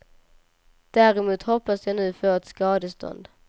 Däremot hoppas jag nu få ett skadestånd.